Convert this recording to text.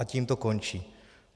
A tím to končí.